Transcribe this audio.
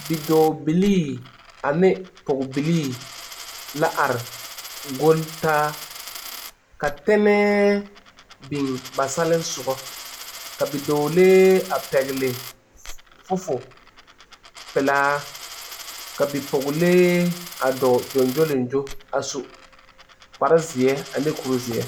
Bidɔbiili ane bipɔgebiili la are gole taa ka tenɛ biŋ ba sɔlensogɔ ka bidɔɔlee a pɛle fofowɔ peɛle ka bie dɔɔlee dɔɔ gyogyolengyo kpaare zeɛ ane kuri zeɛ.